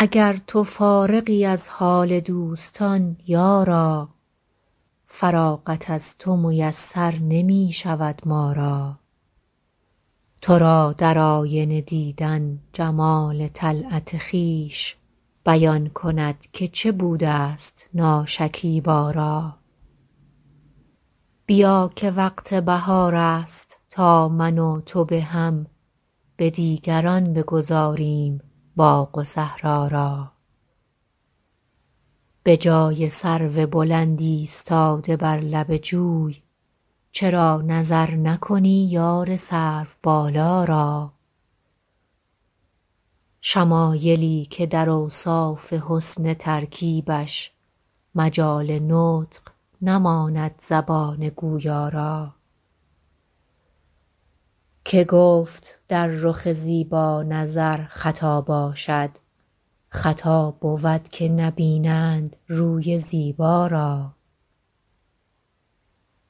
اگر تو فارغی از حال دوستان یارا فراغت از تو میسر نمی شود ما را تو را در آینه دیدن جمال طلعت خویش بیان کند که چه بوده ست ناشکیبا را بیا که وقت بهار است تا من و تو به هم به دیگران بگذاریم باغ و صحرا را به جای سرو بلند ایستاده بر لب جوی چرا نظر نکنی یار سروبالا را شمایلی که در اوصاف حسن ترکیبش مجال نطق نماند زبان گویا را که گفت در رخ زیبا نظر خطا باشد خطا بود که نبینند روی زیبا را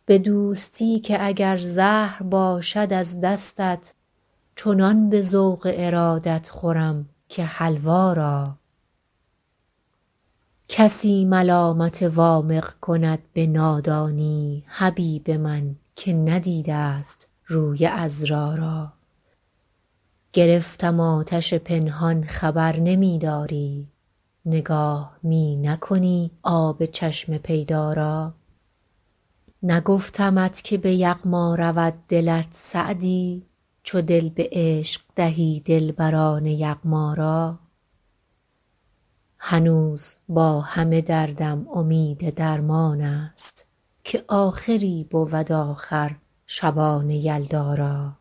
به دوستی که اگر زهر باشد از دستت چنان به ذوق ارادت خورم که حلوا را کسی ملامت وامق کند به نادانی حبیب من که ندیده ست روی عذرا را گرفتم آتش پنهان خبر نمی داری نگاه می نکنی آب چشم پیدا را نگفتمت که به یغما رود دلت سعدی چو دل به عشق دهی دلبران یغما را هنوز با همه دردم امید درمان است که آخری بود آخر شبان یلدا را